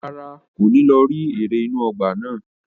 Rárá, kò ní lọ rí eré inú ọgbà náà.